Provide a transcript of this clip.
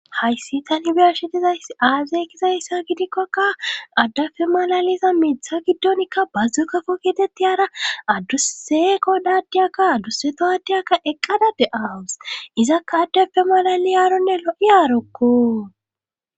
Hayssi tanibesidizay aazeykizayssa gidikkokka addafe malaliza miitha giddonikka bazzu kafo kitetti hara addus seeko daddiyakka adduseto addiyakka eqqada de'aawus izakka addafe malali yaaronne lo'i aarokko